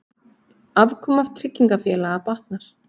Afkoma tryggingafélaga batnar